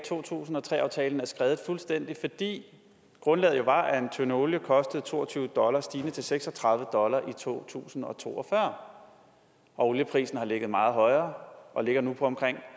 to tusind og tre aftalen er skredet fuldstændig fordi grundlaget jo var at en tønde olie kostede to og tyve dollar stigende til seks og tredive dollar i to tusind og to og fyrre og olieprisen har ligget meget højere og ligger nu på omkring